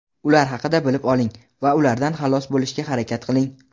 ular haqida bilib oling va ulardan xalos bo‘lishga harakat qiling.